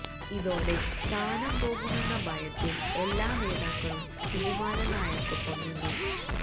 ഇതോടെ സ്ഥാനം പോകുമെന്ന ഭയത്തിൽ എല്ലാ നേതാക്കളും സുകുമാരൻ നായർക്കൊപ്പം നിന്നു